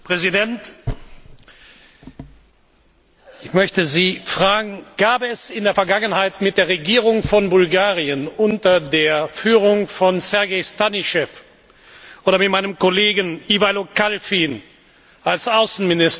Ich möchte Sie fragen, ob es in der Vergangenheit mit der Regierung von Bulgarien unter der Führung von Sergei Stanischew oder mit meinem Kollegen Iwailo Kalfin als Außenminister Bulgariens irgendeine